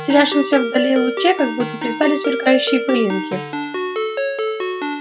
в терявшемся вдали луче как будто плясали сверкающие пылинки